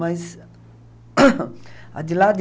Mas... A de lá de...